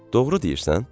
Doğru deyirsən?